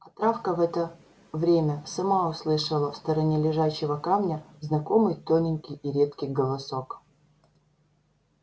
а травка в это время сама услышала в стороне лежачего камня знакомый тоненький и редкий голосок